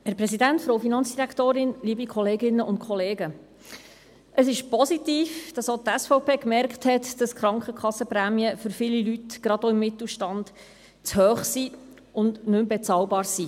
Es ist positiv, dass auch die SVP festgestellt hat, dass die Krankenkassenprämien für viele Leute, gerade aus dem Mittelstand, zu hoch und nicht mehr bezahlbar sind.